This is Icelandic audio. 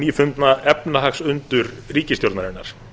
um hið nýfundna efnahagsundur ríkisstjórnarinnar